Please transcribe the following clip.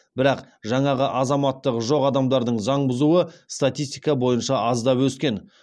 бірақ жаңағы азаматтығы жоқ адамдардың заң бұзуы статистика бойынша аздап өскен